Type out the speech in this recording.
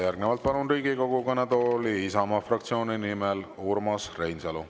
Järgnevalt palun Riigikogu kõnetooli Isamaa fraktsiooni nimel Urmas Reinsalu.